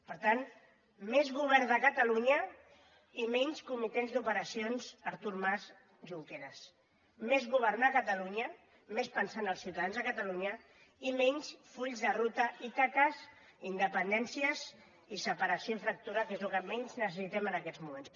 per tant més govern de catalunya i menys comitès d’operacions artur mas junqueras més governar catalunya més pensar en els ciutadans de catalunya i menys fulls de ruta ítaques independències i separació i fractura que és el que menys necessitem en aquests moments